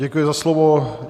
Děkuji za slovo.